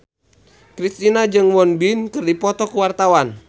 Kristina jeung Won Bin keur dipoto ku wartawan